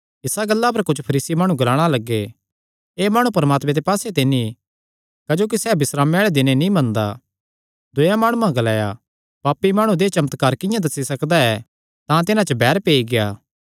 इस गल्ला पर कुच्छ फरीसी माणु ग्लाणा लग्गे एह़ माणु परमात्मे दे पास्से ते नीं क्जोकि सैह़ बिस्रामे आल़े दिने नीं मनदा दूयेयां माणुआं ग्लाया पापी माणु देहय् चमत्कार किंआं दस्सी सकदा ऐ तां तिन्हां च बैर पेई गेआ